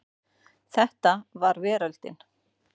Þetta var veröldin.